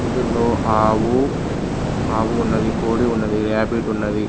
ఇందులో ఆవు ఆవు ఉన్నవి కోడి ఉన్నది రాబిట్ ఉన్నవి.